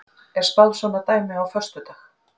Er spáð svona dæmi á föstudag?